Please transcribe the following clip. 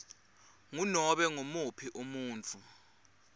ngunobe ngumuphi umuntfu